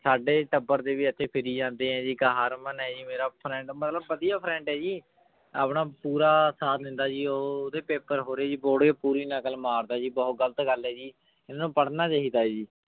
ਸਾਡੇ ਟੱਬਰ ਦੇ ਵੀ ਇੱਥੇ ਫਿਰੀ ਜਾਂਦੇ ਹੈ ਜੀ ਇੱਕ ਹਰਮਨ ਹੈ ਜੀ ਮੇਰਾ friend ਮਤਲਬ ਵਧੀਆ friend ਹੈ ਜੀ ਆਪਣਾ ਪੂਰਾ ਸਾਥ ਦਿੰਦਾ ਜੀ ਉਹ ਉਹਦੇ ਪੇਪਰ ਹੋ ਰਹੇ ਜੀ ਪੂਰੀ ਨਕਲ ਮਾਰਦਾ ਜੀ ਬਹੁਤ ਗ਼ਲਤ ਗੱਲ ਹੈ ਜੀ, ਇਹਨੂੰ ਪੜ੍ਹਨਾ ਚਾਹੀਦਾ ਹੈ ਜੀ।